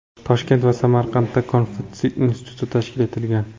Toshkent va Samarqandda Konfutsiy instituti tashkil etilgan.